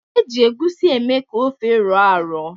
E ji egusi eme ka ofe rọọ arọ.